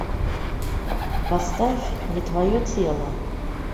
поставь не твое тело